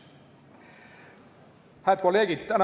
Head kolleegid!